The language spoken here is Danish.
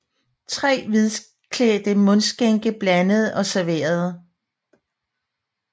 Tre hvidklædte mundskænke blandede og serverede